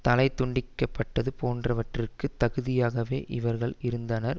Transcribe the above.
தலை துண்டிக்க பட்டது போன்றவற்றிற்கு தகுதியாகவே இவர்கள் இருந்தனர்